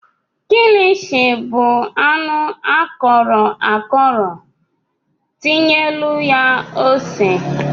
kilichi bụ anụ akọrọ akọrọ tinyelụ ya ose ose.